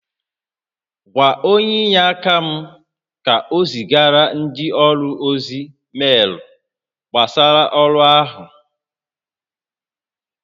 Gwa onye inyeaka m ka o zigara ndị ọrụ ozi meelu gbasara ọrụ áhụ